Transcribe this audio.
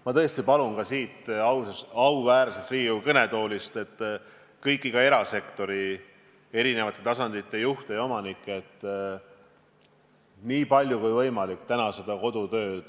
Ma tõesti palun siit auväärsest Riigikogu kõnetoolist kõiki erasektori eri tasandite juhte ja ettevõtete omanikke rakendada täna nii palju kui võimalik kodutööd,